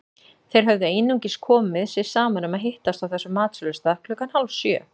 Þeir höfðu einungis komið sér saman um að hittast á þessum matsölustað klukkan hálfsjö.